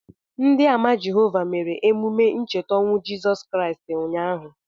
Ndị Àmà Jehovah mere emume ncheta ọnwụ Jizọs Kraịst ụnyaahụ.